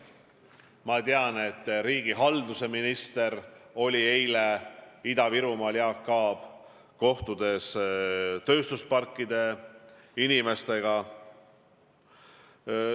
Ma tean, et riigihalduse minister Jaak Aab oli eile Ida-Virumaal, ta kohtus tööstusparkide inimestega.